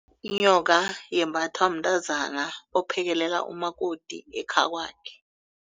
Inyoka yembathwa mntazana ophekelela umakoti ekhakwakhe.